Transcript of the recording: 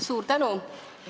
Suur tänu!